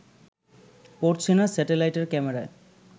পড়ছে না স্যাটেলাইটের ক্যামেরায়